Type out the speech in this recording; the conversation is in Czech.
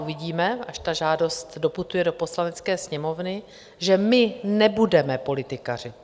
Uvidíme, až ta žádost doputuje do Poslanecké sněmovny, že my nebudeme politikařit.